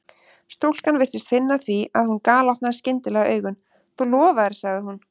Stúlkan virtist finna það því að hún galopnaði skyndilega augun: Þú lofaðir sagði hún.